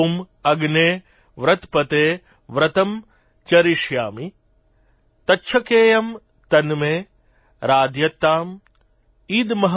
ॐ अग्ने व्रतपते व्रतं चरिष्यामि तच्छकेयम तन्मे राध्यताम |